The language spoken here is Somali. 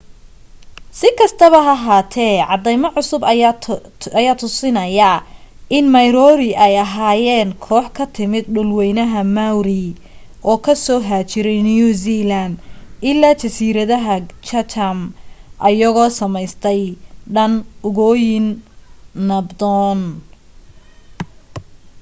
si kastaba ha ahate cadeemo cusub aya tusinaya in moriori ay ahayen koox ka timid dhul weynaha maori oo kasoo haajiray new zealand ilaa jasiiradaha chatham ayagoo sameystay dhan ugooniyo nabdon